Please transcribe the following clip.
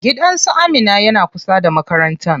Gidan su Amina yana kusa da makarantan.